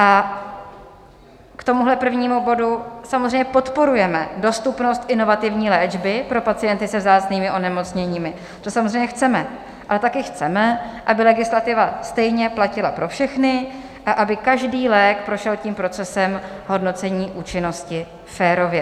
A k tomuhle prvnímu bodu - samozřejmě podporujeme dostupnost inovativní léčby pro pacienty se vzácnými onemocněními, to samozřejmě chceme, ale taky chceme, aby legislativa stejně platila pro všechny a aby každý lék prošel tím procesem hodnocení účinnosti férově.